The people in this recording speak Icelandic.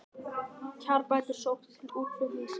Kjarabætur sóttar til útflutningsgreina